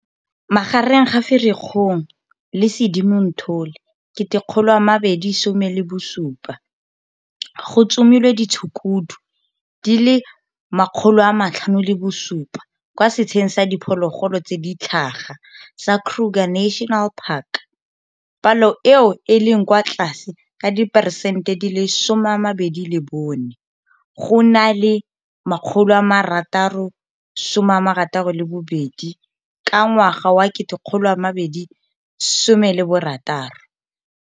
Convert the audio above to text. Magareng ga Firikgong le Sedimonthole 2017, go tsomilwe ditshukudu di le 507 kwa setsheng sa diphologolo tse di tlhaga sa Kruger National Park, palo eo e leng kwa tlase ka diperesente di le 24 go na le 662 ka ngwaga wa 2016.